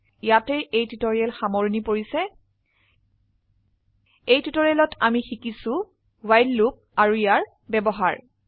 ইয়াতে এই টিউটৰীয়েল সামৰনি পৰিছে এই টিউটোৰিয়ালেত আমি শিকিছো ৱ্হাইল লুপ আৰু ইয়াৰ ব্যবহাৰ